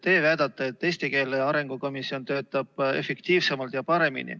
Teie väidate, et eesti keele arengu komisjon töötab efektiivsemalt ja paremini.